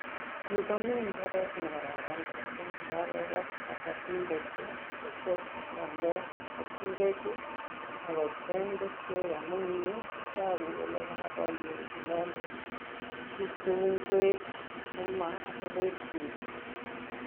Yu komi imbaaret ne kararan mising nekakobat kabatindet akityo konde keturek ako kocheng keswek amun eng yu kotoku kole kakomiin inendet tuguk cheu ingwek sukuma ak lettuce.